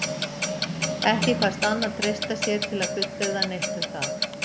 Ekki kvaðst Anna treysta sér til að fullyrða neitt um það.